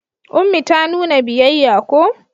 Ummi ta nuna biyayya ko?